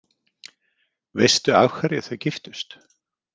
Veistu af hverju þau giftust?